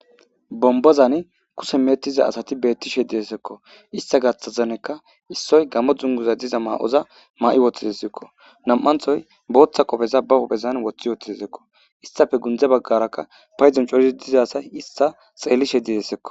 Bombazan kushe meecetishe diza asati beettizayssako. Hayssa gaaththanikka issoy gamo dunguza masatiza ma'oza ma'i woththidesiko. Nami'anththo booththa qoofeza ba huphphen woththi uttidesikko. Istappe gundde baggarakka paydon coratidi diza asay issi issa xeellishe dizayssako.